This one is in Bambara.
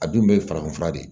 A dun bɛ farafin fura de ye